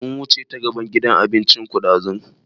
Mun wuce ta gaban gidan abincin ku ɗazu